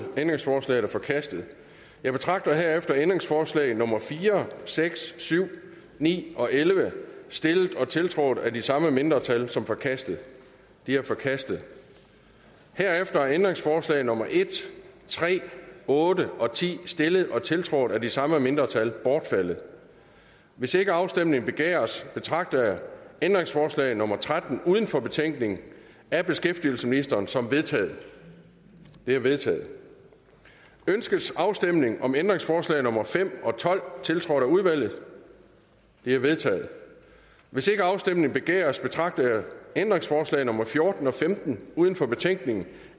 ændringsforslaget er forkastet jeg betragter herefter ændringsforslag nummer fire seks syv ni og elleve stillet og tiltrådt af de samme mindretal som forkastet de er forkastet herefter er ændringsforslag nummer en tre otte og ti stillet og tiltrådt af de samme mindretal bortfaldet hvis ikke afstemning begæres betragter jeg ændringsforslag nummer tretten uden for betænkningen af beskæftigelsesministeren som vedtaget det er vedtaget ønskes afstemning om ændringsforslag nummer fem og tolv tiltrådt af udvalget de er vedtaget hvis ikke afstemning begæres betragter jeg ændringsforslag nummer fjorten og femten uden for betænkningen